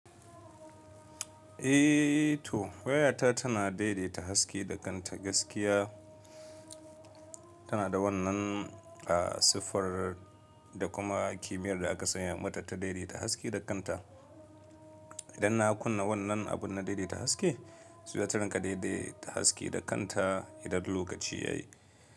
Eh to wayata tana daidaita haske da kanta. Gaskiya tana da wannan siffar da kuma kimiyyar da aka sanya mata ta daidaita haske da kanta. Idan na kunna wannan abun na daidaita haske, sai za ta rinƙa daidaita haske da kanta idan lokaci ya yi.